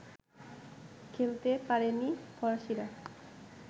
খেলতে পারেনি ফরাসীরা